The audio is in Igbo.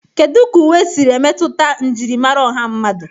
Kedu ka uwe siri emetụta njirimara ọha mmadụ?